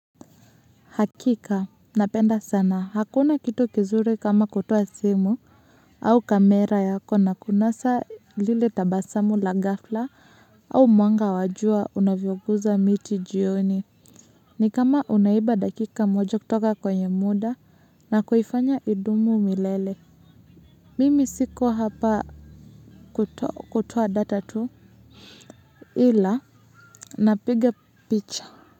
Hakika napenda sana hakuna kitu kizuri kama kutoa simu au kamera yako na kunasa lile tabasamu la gafla au mwanga wajua unavyoguza miti jioni ni kama unaiba dakika moja kutoka kwenye muda na kuhifanya idumu umilele mimi siko hapa kutoa data tu ila napiga picha. Kwa hivyo.